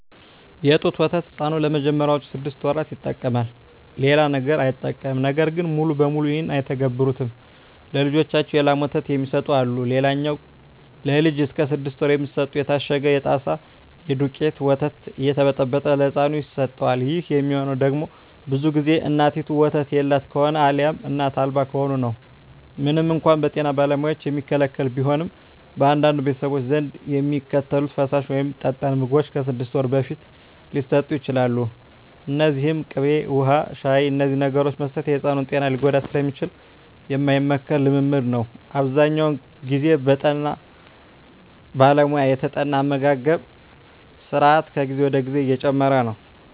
የጡት ወተት ሕፃኑ ለመጀመሪያዎቹ ስድስት ወራት ይጠቀማል። ሌላ ነገር አይጠቀምም። ነገር ግን ሙሉ በሙሉ ይህን አይተገብሩትም። ለልጃቸው የላም ወተት የሚሰጡ አሉ። ሌላኛው ለልጅ እስከ ስድስት ወር የሚሰጠው የታሸገው የጣሳ የደውቄቱ ወተት እየተበጠበጠ ለህፃኑ ይሰጠዋል። ይህ የሚሆነው ደግሞ ብዙ ግዜ እናቲቱ ወተት የላት ከሆነ አልያም እናት አልባ ከሆነ ነው። ምንም እንኳን በጤና ባለሙያዎች የሚከለከል ቢሆንም፣ በአንዳንድ ቤተሰቦች ዘንድ የሚከተሉት ፈሳሽ ወይም ጠጣር ምግቦች ከስድስት ወር በፊት ሊሰጡ ይችላሉ። እነዚህም ቅቤ፣ ውሀ፣ ሻሂ…። እነዚህን ነገሮች መስጠት የሕፃኑን ጤና ሊጎዳ ስለሚችል የማይመከር ልምምድ ነው። አብዛኛውን ግዜ በጠና ባለሙያ የተጠና አመጋገብ ስራት ከጊዜ ወደ ጊዜ እየጨመረ ነው።